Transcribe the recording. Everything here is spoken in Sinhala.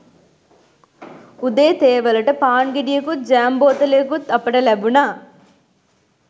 උදේ තේ වලට පාන් ගෙඩියකුත් ජෑම් බෝතලයකුත් අපිට ලැබුණා